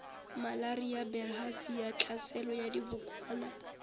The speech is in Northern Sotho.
malaria bilharzia tlhaselo ya dibokwana